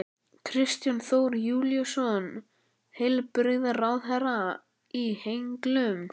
Kristján Þór Júlíusson, heilbrigðisráðherra: Í henglum?